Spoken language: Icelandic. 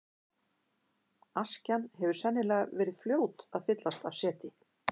Askjan hefur sennilega verið fljót að fyllast af seti.